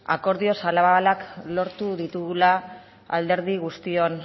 akordio zabalak lortu ditugula alderdi guztion